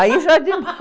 Aí já é